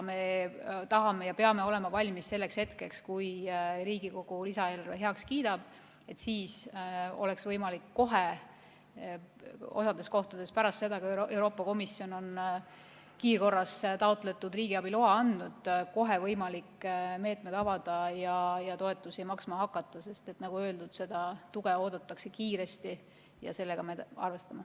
Me tahame olla valmis ja peamegi olema valmis selleks hetkeks, kui Riigikogu lisaeelarve heaks kiidab, et siis oleks võimalik kohe, osas kohtades pärast seda, kui Euroopa Komisjon on kiirkorras taotletud riigiabi loa andnud, need meetmed avada ja toetusi maksma hakata, sest nagu öeldud, seda tuge oodatakse kiiresti ja seda me arvestame.